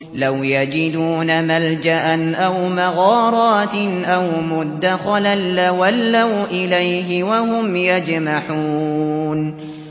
لَوْ يَجِدُونَ مَلْجَأً أَوْ مَغَارَاتٍ أَوْ مُدَّخَلًا لَّوَلَّوْا إِلَيْهِ وَهُمْ يَجْمَحُونَ